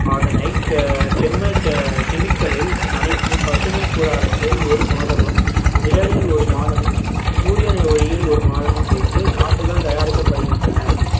அதனை chemical ல் நனைத்து பசுமை கூடாரத்தில் ஒரு மாதமும் நிழலில் ஒரு மாதமும் சூரியனை ஒளியில் ஒரு மாதமும் வைத்து நாற்றுகள் தயாரிக்கப்படுகின்றன